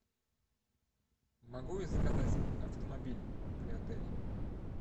могу я заказать автомобиль при отеле